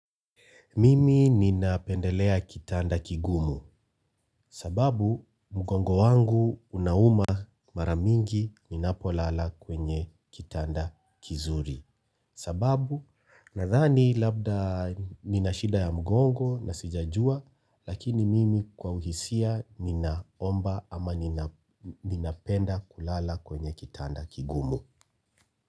Mimi ninapendelea kitanda kigumu sababu mgongo wangu unauma mara mingi ninapolala kwenye kitanda kizuri sababu nadhani labda nina shida ya mgongo na sijajua lakini mimi kwa uhisia ninaomba ama ninapenda kulala kwenye kitanda kigumu.